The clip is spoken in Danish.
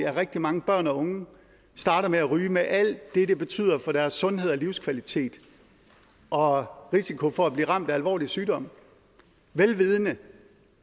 at rigtig mange børn og unge starter med at ryge med alt det det betyder for deres sundhed og livskvalitet og risiko for at blive ramt af alvorlig sygdom vel vidende